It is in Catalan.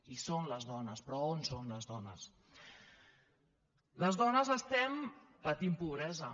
hi són les dones però on són les dones les dones estem patint pobresa